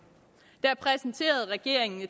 der præsenterede regeringen